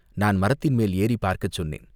நான் மரத்தின் மேல் ஏறிப் பார்க்கச் சொன்னேன்.